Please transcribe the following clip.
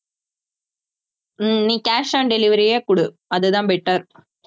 ஹம் நீ cash on delivery யே குடு அதுதான் better